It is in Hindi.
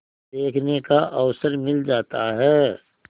देखने का अवसर मिल जाता है